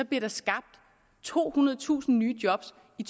bliver skabt tohundredetusind nye job i